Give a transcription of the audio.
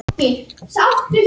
Varð fyrir eldingu um helgina